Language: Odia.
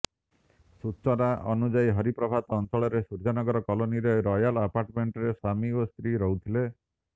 ସୂଚନା ଅନୁସାରେ ହରିପ୍ରଭାତ ଅଞ୍ଚଳରେ ସୂର୍ଯ୍ୟନଗର କଲୋନୀରେ ରୟାଲ ଆପାର୍ଟମେଣ୍ଟରେ ସ୍ବାମୀ ଓ ସ୍ତ୍ରୀ ରହୁଥିଲେ